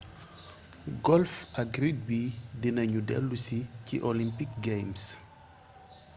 golf ak rugby dina ñu déllusi ci olympic games